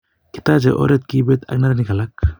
katechei oret kipet ak neranik alak